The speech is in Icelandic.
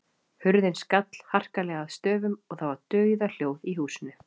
Hurðin skall harkalega að stöfum og það var dauðahljóð í húsinu.